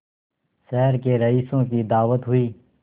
शहर के रईसों की दावत हुई